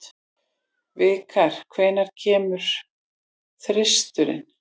Vikar, hvenær kemur þristurinn?